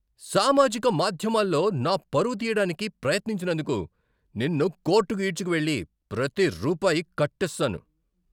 సామాజిక మాధ్యమాల్లో నా పరువు తీయడానికి ప్రయత్నించినందుకు నిన్ను కోర్టుకు ఈడ్చుకు వెళ్లి ప్రతి రూపాయి కట్టిస్తాను.